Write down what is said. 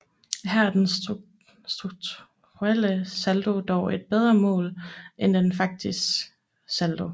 Her er den strukturelle saldo dog et bedre mål end den faktiske saldo